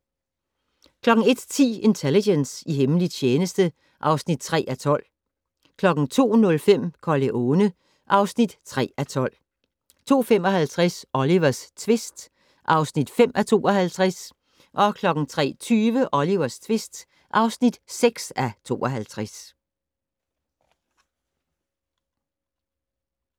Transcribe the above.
01:10: Intelligence - i hemmelig tjeneste (3:12) 02:05: Corleone (3:12) 02:55: Olivers tvist (5:52) 03:20: Olivers tvist (6:52)